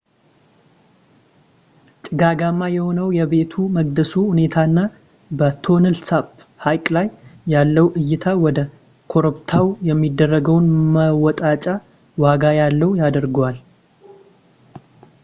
ጭጋጋማ የሆነው የቤተ መቅደሱ ሁኔታና በtonle sap ሃይቅ ላይ ያለው እይታ ወደ ኮረፕብታው የሚደረገውን መወጣጫ ዋጋ ያለው ያደርገዋል